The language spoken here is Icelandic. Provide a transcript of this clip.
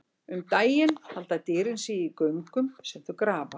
Um daginn halda dýrin sig í göngum sem þau grafa.